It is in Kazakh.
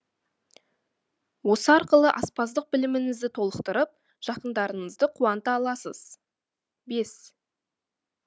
осы арқылы аспаздық біліміңізді толықтырып жақындарыңызды қуанта аласыз бес